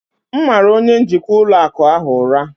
M mara onye njikwa ụlọ akụ ahụ ụra